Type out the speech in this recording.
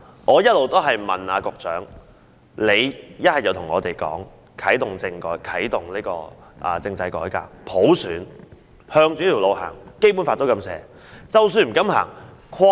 我一直在問局長，他要不便對我們說會啟動政制改革、普選，朝着這條路走，因為《基本法》也是這樣寫的。